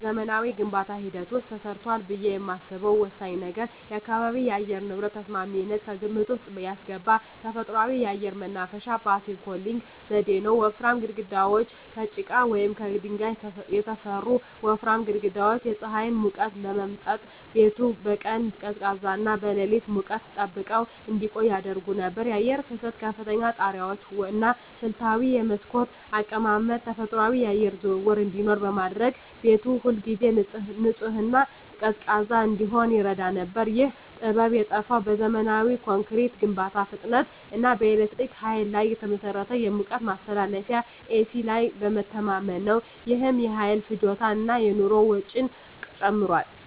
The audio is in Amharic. በዘመናዊው የግንባታ ሂደት ውስጥ ተረስቷል ብዬ የማስበው ወሳኝ ነገር የአካባቢ የአየር ንብረት ተስማሚነትን ከግምት ውስጥ ያስገባ ተፈጥሯዊ የአየር ማናፈሻ (Passive Cooling) ዘዴ ነው። ወፍራም ግድግዳዎች: ከጭቃ ወይም ከድንጋይ የተሠሩ ወፍራም ግድግዳዎች የፀሐይን ሙቀት በመምጠጥ ቤቱን በቀን ቀዝቃዛና በሌሊት ሙቀት ጠብቀው እንዲቆይ ያደርጉ ነበር። የአየር ፍሰት: ከፍተኛ ጣሪያዎች እና ስልታዊ የመስኮት አቀማመጥ ተፈጥሯዊ የአየር ዝውውር እንዲኖር በማድረግ ቤቱ ሁልጊዜ ንጹህና ቀዝቃዛ እንዲሆን ይረዳ ነበር። ይህ ጥበብ የጠፋው በዘመናዊ ኮንክሪት ግንባታ ፍጥነት እና በኤሌክትሪክ ኃይል ላይ በተመሠረተ የሙቀት ማስተካከያ (ኤሲ) ላይ በመተማመን ነው። ይህም የኃይል ፍጆታን እና የኑሮ ወጪን ጨምሯል።